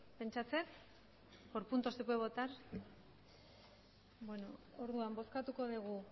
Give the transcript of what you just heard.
pentsatzen dut por punto se puede votar beno orduan bozkatuko dugu